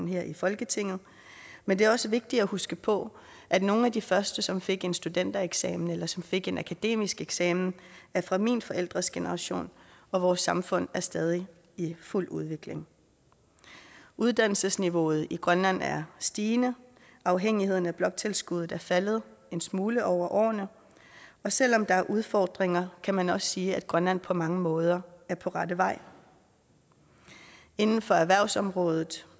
her i folketinget men det er også vigtigt at huske på at nogle af de første som fik en studentereksamen eller som fik en akademisk eksamen er fra mine forældres generation og vores samfund er stadig i fuld udvikling uddannelsesniveauet i grønland er stigende afhængigheden af bloktilskuddet er faldet en smule over årene og selv om der er udfordringer kan man også sige at grønland på mange måder er på rette vej inden for erhvervsområdet